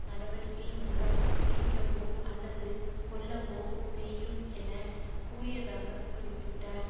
நடவடிக்கை மூலம் பிடிக்கவோ அல்லது கொல்லவோ செய்யும் என கூறியதாக குறிப்பிட்டார்